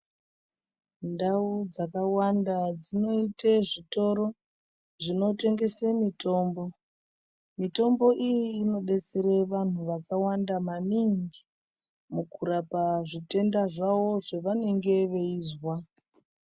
Ndau dzakawanda dzinoite zvitoro zvinotengese mitombo, mitombo iyi inodetsere vanthu vakawanda maningi mukurapa zvitenda zvavo zvevanenge veizwa.